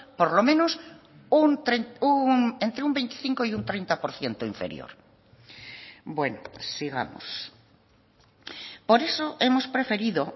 por lo menos entre un veinticinco y un treinta por ciento inferior bueno sigamos por eso hemos preferido